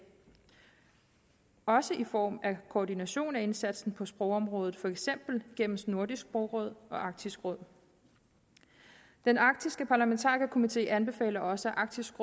også i form af koordination af indsatsen på sprogområdet for eksempel gennem nordisk sprogråd og arktisk råd den arktiske parlamentarikerkomite anbefaler også at arktisk